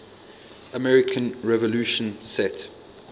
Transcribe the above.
american revolution set